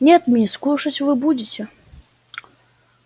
нет мисс кушать вы будете